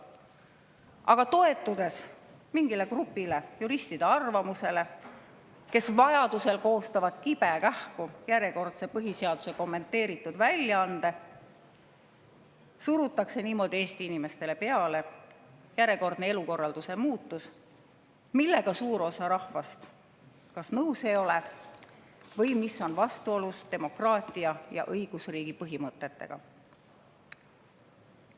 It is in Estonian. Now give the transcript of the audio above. Aga toetudes mingi grupi juristide arvamusele, kes vajaduse korral koostavad kibekähku põhiseaduse järjekordse kommenteeritud väljaande, surutakse niimoodi Eesti inimestele peale järjekordne elukorralduse muutus, millega kas suur osa rahvast nõus ei ole või mis on vastuolus demokraatia ja õigusriigi põhimõtetega.